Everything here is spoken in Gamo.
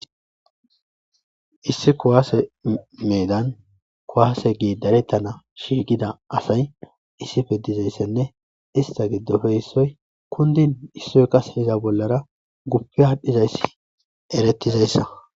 issi kowaase meedan kuwaase gii darettana shiigida asay issife dizayssenne ista giddofe issoy kundin issoy kase iza bollara guppi aadhdhizayssi eretizayssa